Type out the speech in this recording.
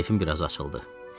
Keyfim biraz açıldı.